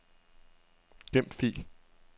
Gem fil.